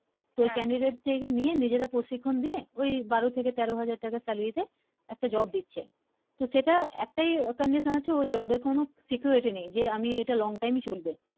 তো Candidate নিয়ে নিজেরা প্রশিক্ষন দিয়ে ওই বারো থেকে তেরো হাজার টাকা salary দেয় একটা Job দিচ্ছে তো সেটা একটাই Condition আছে ওই Job এর কোন security নেই যে আমি এটা long time চলবে